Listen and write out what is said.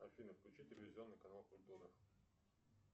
афина включи телевизионный канал культура